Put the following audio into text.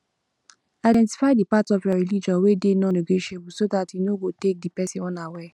identify di part of your religion wey dey nonnegotiable so dat you no go take di person unaware